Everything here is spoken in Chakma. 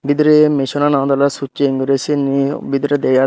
bidire missionano andole succheng guri siyen hee bidire dega jai.